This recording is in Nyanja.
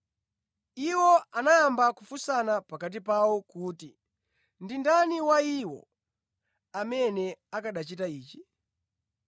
Iwo anayamba kufunsana pakati pawo kuti ndi ndani wa iwo amene akanachita ichi.